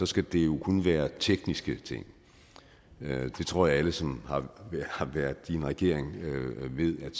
skal det jo kun være tekniske ting jeg tror at alle som har været i en regering ved at